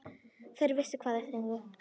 Þeir vissu hvað þeir sungu.